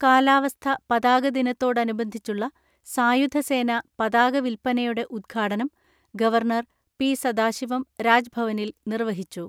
കാലാവസ്ഥ പതാകദിനത്തോടനുബന്ധിച്ചുള്ള സായുധസേനാ പതാക വിൽപ്പനയുടെ ഉദ്ഘാടനം ഗവർണർ പി സദാശിവം രാജ്ഭവനിൽ നിർവ്വഹിച്ചു.